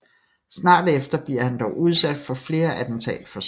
Snart efter bliver han dog udsat for flere attentatforsøg